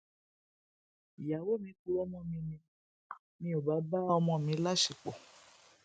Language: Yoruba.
ìyàwó mi purọ mọ mi ni mi ò bá bá ọmọ mi láṣepọ